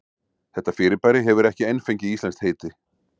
Þetta fyrirbæri hefur ekki enn fengið íslenskt heiti.